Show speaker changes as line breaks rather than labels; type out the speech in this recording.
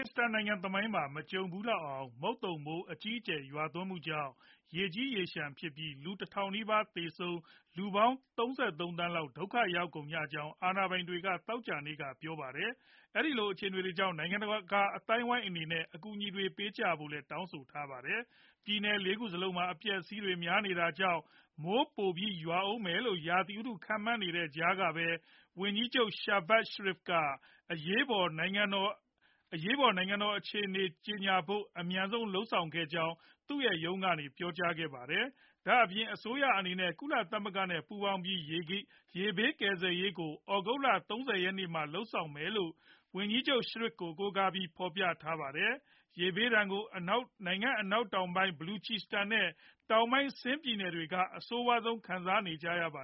စ္စတန်နိုင်ငံ သမိုင်းမှာ မကြုံဖူးလောက်အောင် မုတ်သုန်မိုး အကြီးအကျယ် ရွာသွန်းမှုကြောင့် ရေကြီးရေလျှံဖြစ်ပြီး လူ တထောင်နီးပါးသေဆုံးကာ ၃၃ သန်းလောက် ဒုက္ခရောက်ကုန်ကြကြောင်း အာဏာပိုင်တွေက သောကြာနေ့က ပြောပါတယ်။ အဲဒီလို အခြေအနေတွေကြောင့် နိုင်ငံတကာ အသိုင်းအဝိုင်းအနေနဲ့ အကူအညီတွေ ပေးကြဖို့လည်း တောင်းဆိုထားပါတယ်။ ပြည်နယ် ၄ ခုစလုံးမှာ အပျက်အစီးတွေ များနေတာကြောင့် မိုးပိုပြီးရွာအုန်းမယ်လို့ ရာသီဥတု့ခန့်မှန်းနေတဲ့ကြားကပဲ ဝန်ကြီးချုပ် Shahbaz Sharif က အရေးပေါ် နိုင်ငံတော် အရေးပေါ် အခြေအနေ ကြေညာဖို့ အမြန်ဆုံးလုပ်ဆောင်ခဲ့ကြောင်း သူရဲ့ ရုံးကနေ ပြောကြားခဲ့ပါတယ်။ ဒါအပြင် အစိုးရအနေနဲ့ ကုလသမဂ္ဂနဲ့ ပူးပေါင်းပြီး ရေဘေးကယ်ဆယ်ရေး အကူအညီတွေကို သြဂုတ်လ ၃ဝ ရက်နေ့မှာ လုပ်ဆောင်မယ်လို့ ဝန်ကြီးချုပ် Sharif ကို ကိုးကားပြီး ဖော်ပြထားပါတယ်။ ရေဘေးဒဏ်ကို နိုင်ငံအနောက်တောင်ပိုင်း Baluchistan နဲ့ တောင်ပိုင်း Sindh ပြည်နယ်တွေက အဆိုးဆုံးခံကြရပါ